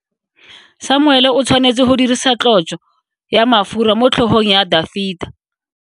Samuele o tshwanetse go dirisa tlotso ya mafura motlhogong ya Dafita.